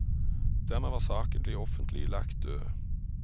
Dermed var saken offentlig lagt død.